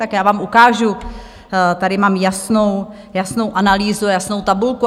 Tak já vám ukážu, tady mám jasnou analýzu, jasnou tabulku.